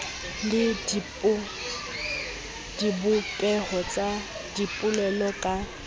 le dibopeho tsa dipolelo ka